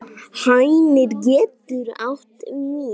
Hænir getur átt við